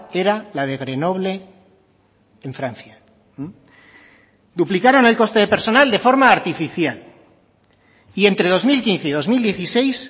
era la de grenoble en francia duplicaron el coste de personal de forma artificial y entre dos mil quince y dos mil dieciséis